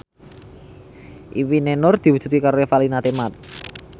impine Nur diwujudke karo Revalina Temat